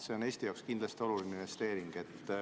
See on Eesti jaoks kindlasti oluline investeering.